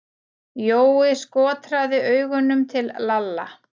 Jói skotraði augunum til Lalla.